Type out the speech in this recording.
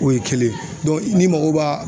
O ye kelen ni mako b'a